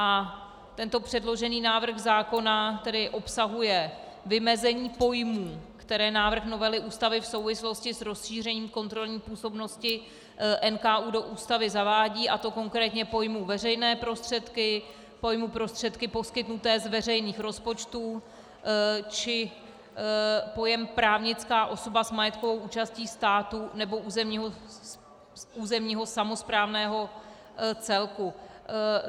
A tento předložený návrh zákona tedy obsahuje vymezení pojmů, které návrh novely Ústavy v souvislosti s rozšířením kontrolní působnosti NKÚ do Ústavy zavádí, a to konkrétně pojmu veřejné prostředky, pojmu prostředky poskytnuté z veřejných rozpočtů či pojem právnická osoba s majetkovou účastí státu nebo územního samosprávného celku.